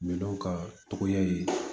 Minɛnw ka togoya ye